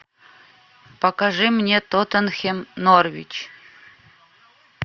покажи мне тоттенхэм норвич